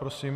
Prosím.